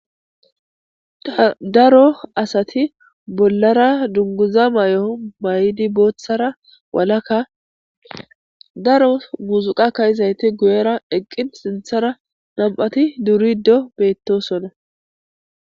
darro asatti dunguzza mayoo mayiddi bollara darro muzziqqa ka77idayssati dizzayssa bessishede de'ssona.namm'ti sintharra durrossona.